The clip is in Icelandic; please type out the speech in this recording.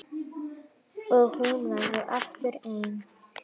Og hún verður aftur ein.